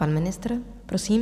Pan ministr, prosím.